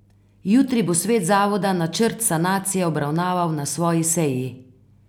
Jutri bo svet zavoda načrt sanacije obravnaval na svoji seji.